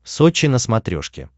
сочи на смотрешке